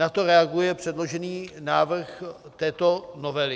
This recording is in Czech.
Na to reaguje předložený návrh této novely.